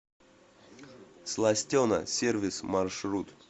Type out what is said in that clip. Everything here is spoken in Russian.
сластена сервис маршрут